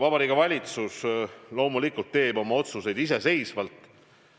Vabariigi Valitsus loomulikult teeb oma otsused iseseisvalt.